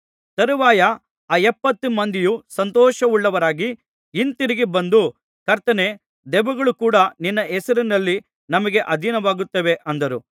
ತರುವಾಯ ಆ ಎಪ್ಪತ್ತು ಮಂದಿಯು ಸಂತೋಷವುಳ್ಳವರಾಗಿ ಹಿಂತಿರುಗಿ ಬಂದು ಕರ್ತನೇ ದೆವ್ವಗಳು ಕೂಡಾ ನಿನ್ನ ಹೆಸರಿನಲ್ಲಿ ನಮಗೆ ಅಧೀನವಾಗುತ್ತವೆ ಅಂದರು